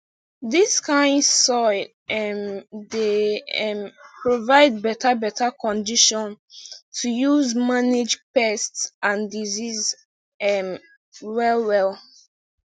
dis kind soil um dey um provide beta beta condition to use manage pest and disease um well well